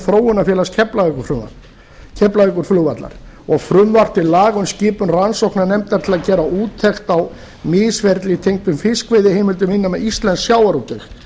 þróunarfélags keflavíkurflugvallar og frumvarp til laga um skipun rannsóknarnefndar til að gera úttekt á misferli tengd fiskveiðiheimildum innan íslensks sjávarútvegs